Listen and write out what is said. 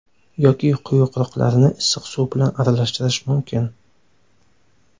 Yoki quyuqroqlarini issiq suv bilan aralashtirish mumkin.